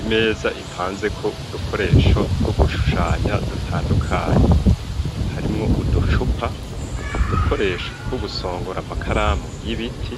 imeza ipanze ko udukoresho two gushushanya dutandukanye harimwo uduchupa udukoresho tw'o gusongora amakaramu y'ibiti